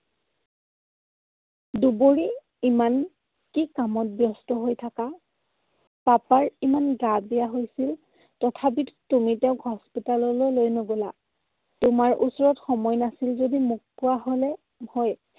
দুবৰি, ইমান কি কামত ব্যস্ত হৈ থাকা? papa ৰ ইমান গা বেয়া হৈছে। তথাপিতো তুমি তেওঁক hospital লৈ লৈ নগলা? তোমাৰ ওচৰত সময় নাছিল যদি মোক কোৱা হলে হয়।